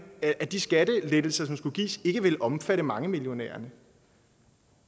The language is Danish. at de skattelettelser som skulle gives ikke ville omfatte mangemillionæren